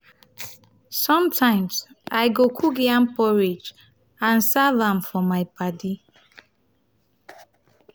sometimes i go cook yam porridge and serve am for my padi